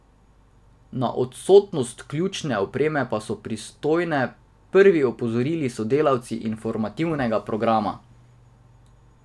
Na odsotnost ključne opreme pa so pristojne prvi opozorili sodelavci informativnega programa.